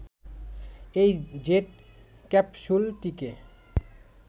এই জেট ক্যাপসুলটিকে